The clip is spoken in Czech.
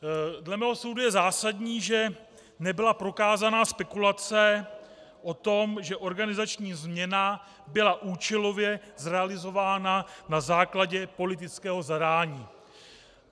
Dle mého soudu je zásadní, že nebyla prokázaná spekulace o tom, že organizační změna byla účelově zrealizována na základě politického zadání.